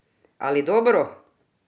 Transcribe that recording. Ali dobro?